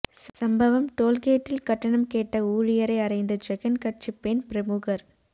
சம்பவம் டோல் கேட்டில் கட்டணம் கேட்ட ஊழியரை அறைந்த ஜெகன் கட்சி பெண் பிரமுகர்